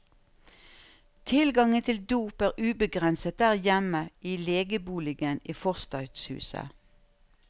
Tilgangen til dop er ubegrenset der hjemme i legeboligen i forstadshuset.